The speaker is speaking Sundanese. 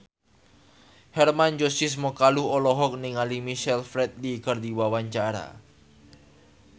Hermann Josis Mokalu olohok ningali Michael Flatley keur diwawancara